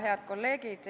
Head kolleegid!